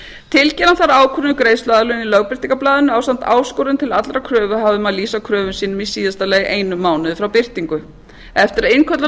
tilkynna þarf ákvörðun um greiðsluaðlögun í lögbirtingarblaðinu ásamt áskorun til allra kröfuhafa um að lýsa kröfum sínum í síðasta lagi einum mánuði frá birtingu eftir að innköllunarfrestur